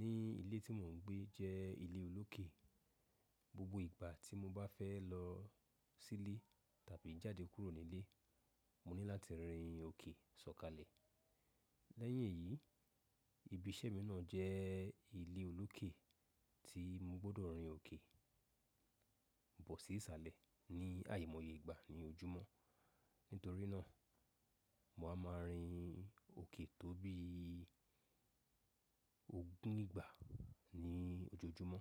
ní ilé tí mò ń gbé jẹ́ ilé olókè. Gbogbo ìgbà tí mo bá fẹ́ lọ sílé tàbí jáde kúrò nílé, mo ní láti rìn òkè sọ̀kalẹ̀. Lẹ́yìn èyí, ibi iṣẹ́ mi náà jẹ́ ilé olókè tí mo gbọ́dọ̀ rìn òkè bọ̀ sí ìsàlẹ̀ ní àyì mọ̀ye ìgbà ní ojúmọ́. Nítorí náà, màá ma rìn òkè tó bí ogún ìgbà ní ojoojúmọ́.